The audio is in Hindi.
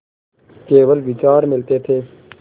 केवल विचार मिलते थे